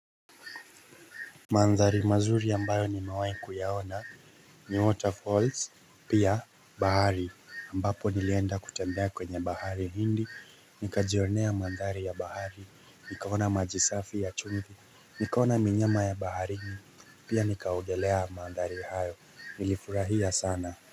Maandari mazuri ambayo nimewai kuyaona ni waterfalls Pia bahari ambapo nilienda kutembea kwenye bahari hindi Nika jionea maandari ya bahari Nikaona majisafi ya chumvi Nikaona minyama ya baharini Pia nikaogelea maandari hayo Nilifurahia sana.